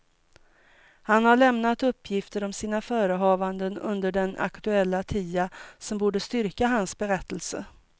Han har lämnat uppgifter om sina förehavanden under den aktuella tiden som borde styrka hans berättelse.